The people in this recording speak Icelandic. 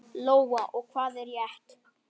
Lóa: Og hvað er rétt?